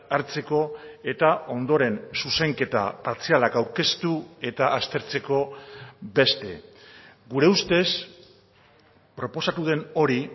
hartzeko eta ondoren zuzenketa partzialak aurkeztu eta aztertzeko beste gure ustez proposatu den hori